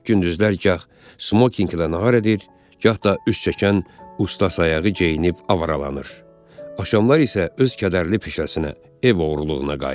Gündüzlər gah smokinglə nağır edir, gah da üst çəkən ustasayağı geyinib avaralanır, axşamlar isə öz kədərli peşəsinə, ev oğurluğuna qayıdır.